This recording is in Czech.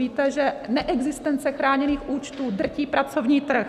Víte, že neexistence chráněných účtů drtí pracovní trh.